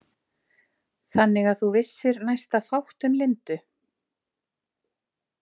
Þannig að þú vissir næsta fátt um Lindu?